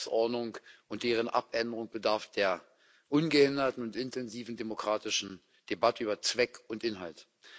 Jede Geschäftsordnung und deren Abänderung bedarf der ungehinderten und intensiven demokratischen Debatte über Zweck und Inhalt.